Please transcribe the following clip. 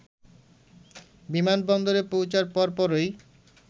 বিমানবন্দরে পৌঁছার পরপরই